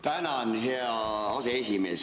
Tänan, hea aseesimees!